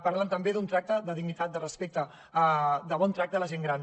parlen també d’un tracte de dignitat de respecte de bon tracte a la gent gran